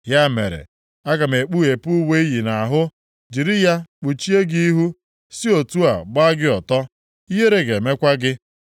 Ya mere, aga m ekpughepụ uwe i yi nʼahụ, jiri ya kpuchie gị ihu, si otu a gbaa gị ọtọ. Ihere ga-emekwa gị.